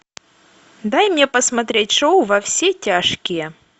дай мне посмотреть шоу во все тяжкие